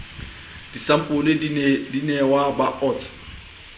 disampole di nehwa ba osts